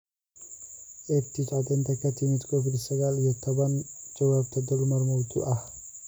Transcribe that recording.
EdTech Caddeynta ka timid Covid sagaal iyo tobbaan Jawaabta: dulmar mawduuc ah